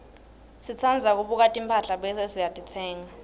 sitsandza kubuka timphahla bese sititsenga